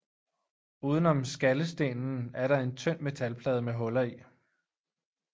Uden om skallestenen er der en tynd metalplade med huller i